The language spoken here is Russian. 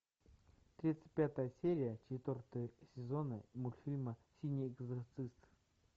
тридцать пятая серия четвертого сезона мультфильма синий экзорцист